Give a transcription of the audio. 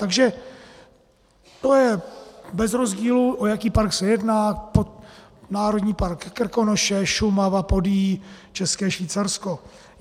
Takže to je bez rozdílu, o jaký park se jedná - národní park Krkonoše, Šumava, Podyjí, České Švýcarsko.